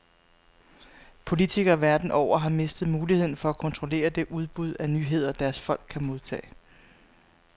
Politikere verden over har mistet muligheden for at kontrollere det udbud af nyheder, deres folk kan modtage.